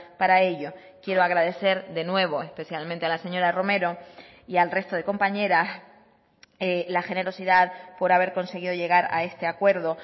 para ello quiero agradecer de nuevo especialmente a la señora romero y al resto de compañeras la generosidad por haber conseguido llegar a este acuerdo